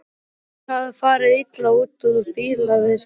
Annar hafði farið illa út úr bílaviðskiptum.